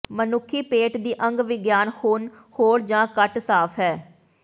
ਮਨੁੱਖੀ ਪੇਟ ਦੀ ਅੰਗ ਵਿਗਿਆਨ ਹੁਣ ਹੋਰ ਜਾਂ ਘੱਟ ਸਾਫ ਹੈ